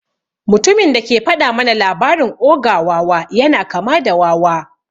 Mutumin da ke faɗa mana labarin ogre wawa yana kama da wawa.